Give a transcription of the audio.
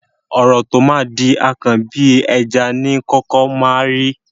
Ọ̀rọ̀ tó máa di akàn, bí ẹja ni í kọ́kọ́ máa ńrí.